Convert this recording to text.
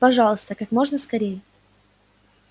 пожалуйста как можно скорее